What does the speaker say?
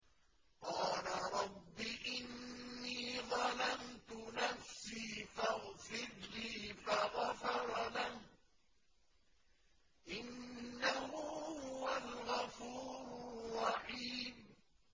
قَالَ رَبِّ إِنِّي ظَلَمْتُ نَفْسِي فَاغْفِرْ لِي فَغَفَرَ لَهُ ۚ إِنَّهُ هُوَ الْغَفُورُ الرَّحِيمُ